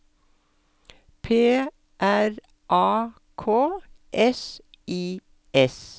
P R A K S I S